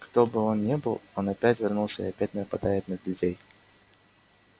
кто бы он ни был он опять вернулся и опять нападает на людей